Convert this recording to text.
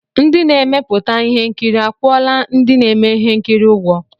Onye na-emepụta ihe nkiri akwụọla ndị na-eme ihe nkiri ụgwọ?